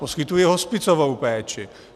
Poskytuje hospicovou péči.